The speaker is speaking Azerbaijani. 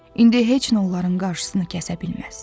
İndi heç nə onların qarşısını kəsə bilməz.